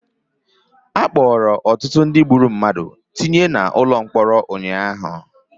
Akpọrọ ọtụtụ ndị gburu mmadụ tinye na ụkọ mkpọrọ ụnyaahụ